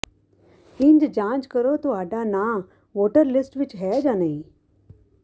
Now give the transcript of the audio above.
ਇੰਝ ਜਾਂਚ ਕਰੋ ਤੁਹਾਡਾ ਨਾਂ ਵੋਟਰ ਲਿਸਟ ਵਿਚ ਹੈ ਜਾਂ ਨਹੀਂ